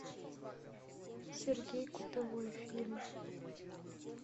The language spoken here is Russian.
сергей кутовой фильм